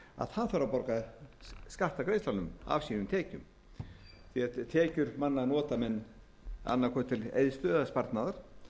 þarf að borga skatt af greiðslunum af sínum tekjum því að tekjur manna nota menn annað hvort til eyðslu eða sparnaðar